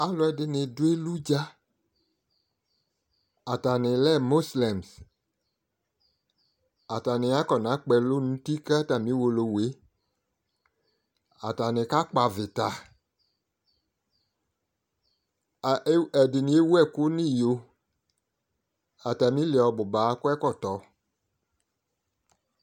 alʋ ɛdini dʋ elʋdza atani lɛ mɔslems atani akɔnakpɔ elʋ nʋ ʋti kʋ atami ʋwolowʋe atani kakpɔ avita ɛdini ewʋ ɛkʋ nʋ iyo atamili ɔbʋba akɔ ɛkɔtɔ